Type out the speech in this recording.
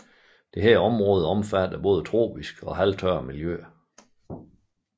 Dette område omfatter både tropiske og halvtørre miljøer